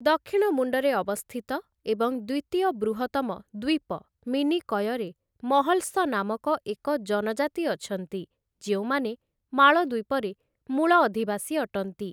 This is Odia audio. ଦକ୍ଷିଣମୁଣ୍ଡରେ ଅବସ୍ଥିତ ଏବଂ ଦ୍ୱିତୀୟ ବୃହତ୍ତମ ଦ୍ୱୀପ ମିନିକୟରେ 'ମହଲ୍ସ' ନାମକ ଏକ ଜନଜାତି ଅଛନ୍ତି, ଯେଉଁମାନେ ମାଳଦ୍ୱୀପରେ ମୂଳ ଅଧିବାସୀ ଅଟନ୍ତି ।